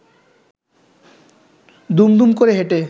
দুম দুম করে হেঁটে